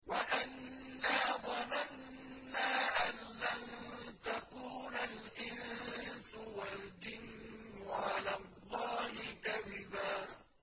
وَأَنَّا ظَنَنَّا أَن لَّن تَقُولَ الْإِنسُ وَالْجِنُّ عَلَى اللَّهِ كَذِبًا